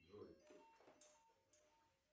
джой